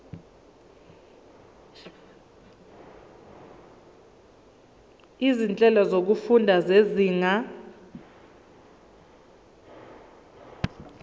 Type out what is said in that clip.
izinhlelo zokufunda zezinga